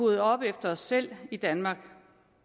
rydde op efter os selv i danmark